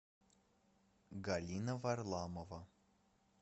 галина варламова